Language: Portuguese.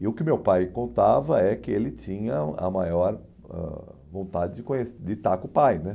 E o que meu pai contava é que ele tinha a maior ãh vontade de conhe de estar com o pai né.